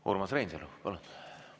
Urmas Reinsalu, palun!